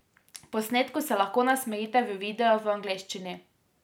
Posnetku se lahko nasmejite v videu v angleščini.